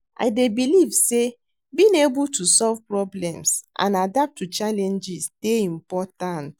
I dey believe say being able to solve problems and adapt to challenges dey important.